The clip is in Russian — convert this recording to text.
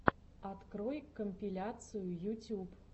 открой компиляции ютюб